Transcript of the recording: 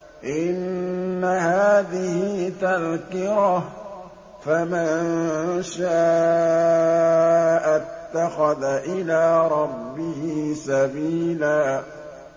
إِنَّ هَٰذِهِ تَذْكِرَةٌ ۖ فَمَن شَاءَ اتَّخَذَ إِلَىٰ رَبِّهِ سَبِيلًا